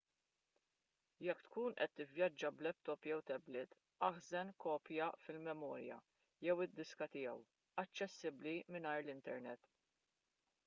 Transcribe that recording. jekk tkun qed tivvjaġġa b’laptop jew tablet aħżen kopja fil-memorja jew id-diska tiegħu aċċessibbli mingħajr l-internet